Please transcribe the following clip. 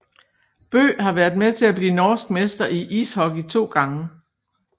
Bøe har været med til at blive norsk mester i ishockey to gange